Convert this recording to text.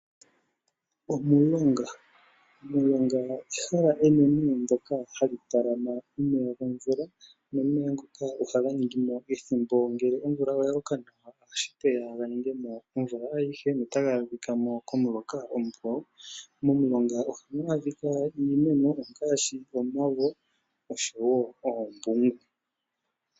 Omulonga Omulonga ehala enene moka hamu talama omeya gomvula nomeya ngoka ohaga ningi mo ethimbo, ngele omvula oya loka nawa ohashi vulika ga ninge mo omvula ayihe notaga adhika mo komuloka mukwawo. Momulonga ohamu adhika iimeno ngaashi omavo noshowo oombungu.